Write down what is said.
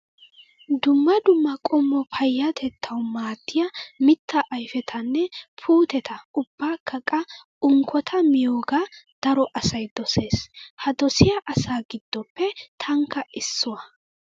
Dumma dumma qommo payyatettaswu maaddiyaa mittaa ayipetanne puutetaa ubbakka qa unkkota miyoogaa daro asayi doses. Ha dosiyaa asaa giddoppe tankka issuwaa.